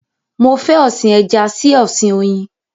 Mo fẹ́ ọ̀sin ẹja sí ọ̀sin oyin